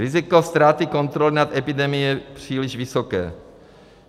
Riziko ztráty kontroly nad epidemií je příliš vysoké.